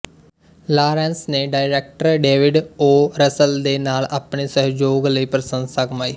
Lawrence ਨੇ director David O Russell ਦੇ ਨਾਲ ਆਪਣੇ ਸਹਿਯੋਗ ਲਈ ਪ੍ਰਸੰਸਾ ਕਮਾਈ